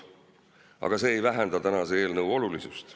Aga see ei vähenda selle eelnõu olulisust.